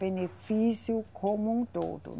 Benefício como um todo